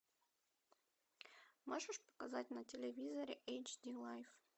можешь показать на телевизоре эйч ди лайв